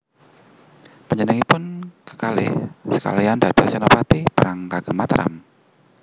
Panjenenganipun kekalih sekalian dados senopati perang kagem Mataram